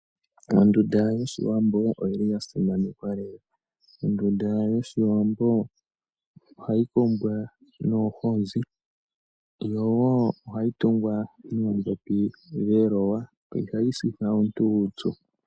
Ondunda yoshiwambo oya simanekwa lela ohayi kumbwa noohozi yo ohayi tungwa noodhopi dheloya. Ihayi sitha omuntu uupyu.